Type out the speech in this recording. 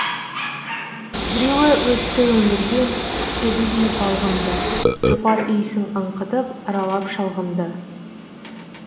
біреу өтті өмірден сәбидей балғын ды жұпар иісін аңқытып аралап шалғынды